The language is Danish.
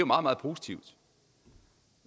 meget meget positivt